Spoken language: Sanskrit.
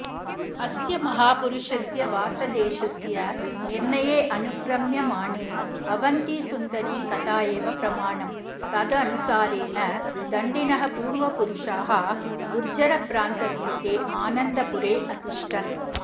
अस्य महापुरुषस्य वासदेशस्य निर्णयेऽनुक्रम्यमाणे अवन्तिसुन्दरी कथा एव प्रमाणम् तदनुसारेण दण्डिनः पूर्वपुरुषाः गुर्जरप्रान्तस्थिते आनन्दपुरेऽतिष्ठन्